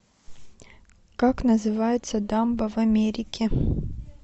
как называется дамба в америке